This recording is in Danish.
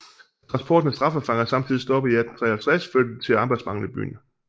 Da transporten af straffefanger samtidig stoppede i 1853 førte det til arbejdsmangel i byen